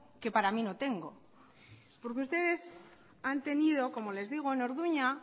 que para mí no tengo porque ustedes han tenido como les digo en orduña